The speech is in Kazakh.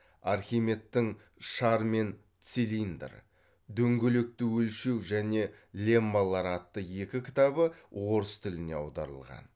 архимедтің шар мен цилиндр дөңгелекті өлшеу және леммалар атты екі кітабы орыс тіліне аударылған